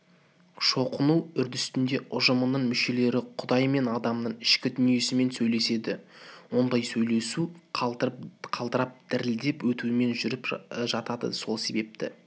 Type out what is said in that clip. шоқыну үрдісінде ұжымның мүшелері құдай мен адамның ішкі дүниесімен сөйлеседі ондай сөйлесу қалтырап дірілдеп өтумен жүріп жатады сол себепті